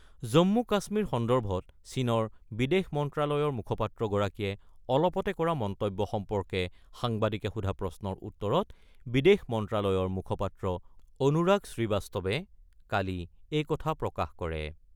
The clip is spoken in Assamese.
জম্মু - কাশ্মীৰ সন্দৰ্ভত চীনৰ বিদেশ মন্ত্ৰালয়ৰ মুখপাত্ৰ গৰাকীয়ে অলপতে কৰা মন্তব্য সম্পৰ্কে সাংবাদিকে সোধা প্ৰশ্নৰ উত্তৰত বিদেশ মন্ত্ৰালয়ৰ মুখপাত্ৰ অনুৰাগ শ্ৰীবাস্তৱে কালি এই কথা প্ৰকাশ কৰে ।